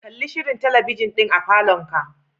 Kalli shirin talabijin din a falonka.